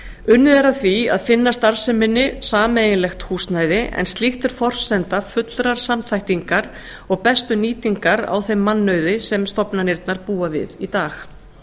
unnið er að því að finna starfseminni sameiginlegt húsnæði en slíkt er forsenda fullrar samþættingar og bestu nýtingar á þeim mannauði sem stofnanirnar búa við í dag